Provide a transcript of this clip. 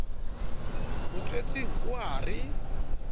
mo tswetseng o a re